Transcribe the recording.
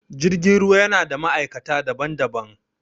Jirgin ruwa yana da ma'aikata daban-daban